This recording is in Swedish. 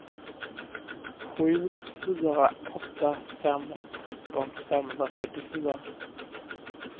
sju fyra åtta fem tretton femhundrafyrtiofyra